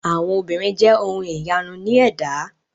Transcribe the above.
Àwọn obìnrin jẹ ohun ìyanu ní ẹ̀dá.